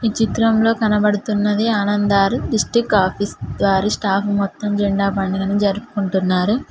ఈ చిత్రంలో కనబడుతున్నది ఆనంద్ దార్ డిస్ట్రిక్ట్ ఆఫీస్ గారి స్టాఫ్ మొత్తం జెండా పండుగను జరుపుకుంటున్నారు.